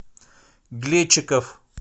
глечиков